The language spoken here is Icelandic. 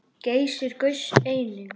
Geysir gaus einnig.